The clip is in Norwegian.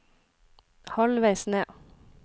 halvveis ned